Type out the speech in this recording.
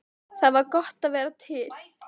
Það var gott að vera til.